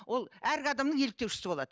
ол әргі адамның еліктеушісі болады